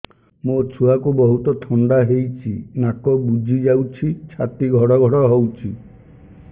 ମୋ ଛୁଆକୁ ବହୁତ ଥଣ୍ଡା ହେଇଚି ନାକ ବୁଜି ଯାଉଛି ଛାତି ଘଡ ଘଡ ହଉଚି